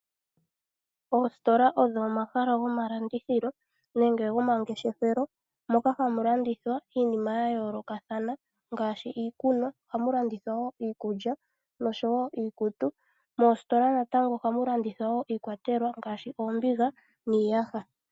Oositola odho omahala gomalandithilo nenge gomangefeshelo moka hamu landithwa iinima yayoolokathana ngaashi iikunwa. Ohamu landithwa woo iikulya nosho woo iikutu. Moositola natango ohamu landithwa woo iikwatelwa ngaashi oombiga niiyasha.